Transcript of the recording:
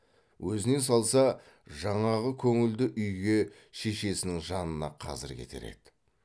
өзіне салса жаңағы көңілді үйге шешесінің жанына қазір кетер еді